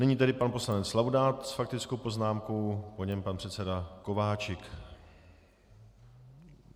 Nyní tedy pan poslanec Laudát s faktickou poznámkou, po něm pan předseda Kováčik.